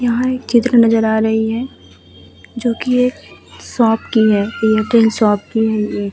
यहाँ एक चित्र नज़र आ रही है जोकि एक शॉप की है। लेकिन शॉप की --